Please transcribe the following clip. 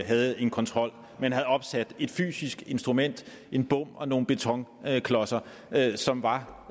havde en kontrol men havde opsat et fysisk instrument en bom og nogle betonklodser som var